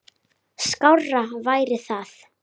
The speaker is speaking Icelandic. Skárra væri það.